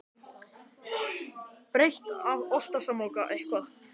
Bríet